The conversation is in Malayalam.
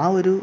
ആ ഒരു